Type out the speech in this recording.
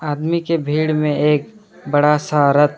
आदमी के भीड़ में एक बड़ा सा रथ--